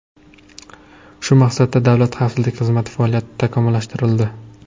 Shu maqsadda Davlat xavfsizlik xizmati faoliyati takomillashtirildi.